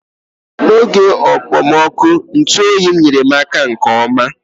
N'oge okpomọkụ, ntụ oyi m nyere m aka nke ọma.